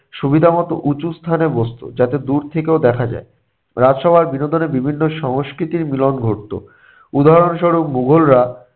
সুবিধামতো উঁচু স্থানে বসতো, যাতে দূর থেকেও দেখা যায়। রাজসভায় বিনোদনের বিভিন্ন সংস্কৃতির মিলন ঘটতো। উদাহরণস্বরূপ - মুঘলরা